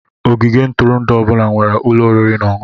Ogige ntụrụndụ ọ bụla nwere ụlọ oriri na ọṅụṅụ.